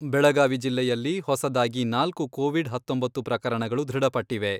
ಬೆಳಗಾವಿ ಜಿಲ್ಲೆಯಲ್ಲಿ ಹೊಸದಾಗಿ ನಾಲ್ಕು ಕೋವಿಡ್ ಹತ್ತೊಂಬತ್ತು ಪ್ರಕರಣಗಳು ದೃಢಪಟ್ಟಿವೆ.